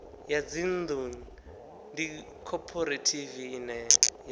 ya dzinnḓu ndi khophorethivi ine